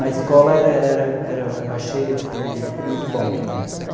Na escola era era era eu achei fui fui muito bom também.